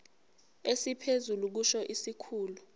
esiphezulu kusho isikhulu